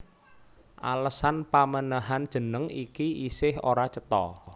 Alesan pamènèhan jeneng iki isih ora cetha